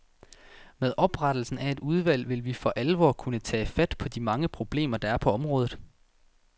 Med oprettelsen af et udvalg vil vi for alvor kunne tage fat på de mange problemer, der er på området.